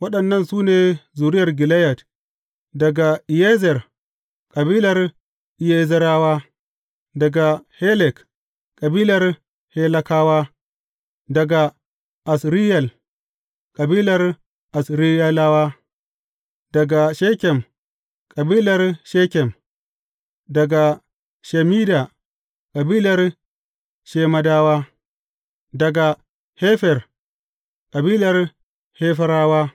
Waɗannan su ne zuriya Gileyad, daga Iyezer, kabilar Iyezerawa; daga Helek, kabilar Helekawa; daga Asriyel, kabilar Asriyelawa; daga Shekem, kabilar Shekem; daga Shemida, kabilar Shemadawa; daga Hefer, kabilar Heferawa.